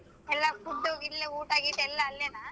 ಎಲ್ಲಾ food ಇಲ್ಲ ಊಟ ಗೀಟ ಎಲ್ಲಾ ಅಲ್ಲೆನ?